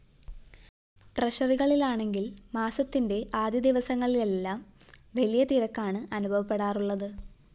ട്രഷറികളിലാണെങ്കില്‍ മാസത്തിന്റെ ആദ്യദിവസങ്ങളിലെല്ലാം വലിയ തിരക്കാണ് അനുഭവപ്പെടാറുളളത്